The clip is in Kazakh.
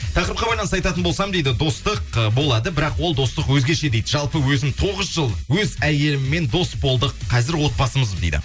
тақырыпқа байланысты айтатын болсам дейді достық ы болады бірақ ол достық өзгеше дейді жалпы өзім тоғыз жыл өз әйеліммен дос болдық қазір отбасымыз дейді